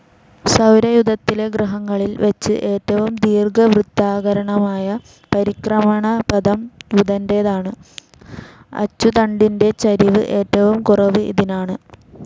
സൗരയൂഥത്തിലെ ഗ്രഹങ്ങളിൽ വെച്ച് ഏറ്റവും ദീർഘവൃത്താകാരമായ പരിക്രമണപഥം ബുധൻ്റേതാണ്, അച്ചുതണ്ടിൻ്റെ ചരിവ് ഏറ്റവും കുറവും ഇതിനാണ്.